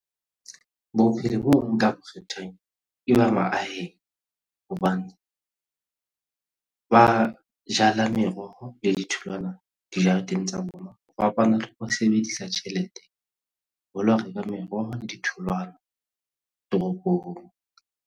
Bophelo boo nka bo kgethang ke ba mahaheng hobane ba jala meroho le ditholwana dijareteng tsa bona ho fapana le ho sebedisa tjhelete ho lo reka meroho le ditholwana teropong.